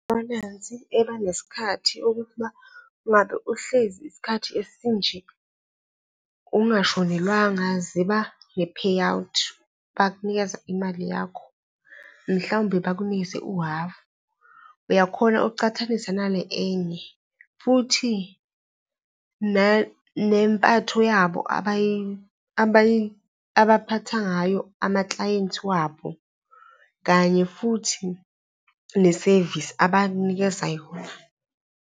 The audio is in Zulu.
Ibhalansi abanesikhathi okuthi uma ngabe uhlezi isikhathi esinje ungashonelwanga ziba ne-payout, bakunikeza imali yakho, mhlawumbe bakunikeze uhafu, uyakhona ukuchathanisa nale enye futhi nempatho yabo abaphatha ngayo amaklayenti wabo, kanye futhi nesevisi abakunikeza yona.